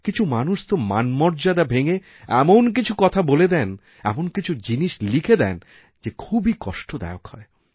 কিছু মানুষ তো মানমর্যাদা ভেঙে এমন কিছু কথা বলে দেন এমন কিছু জিনিসলিখে দেন যে খুবই কষ্টদায়ক হয়